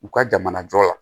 U ka jamana jɔ la